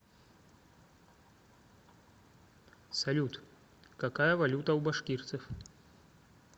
салют какая валюта у башкирцев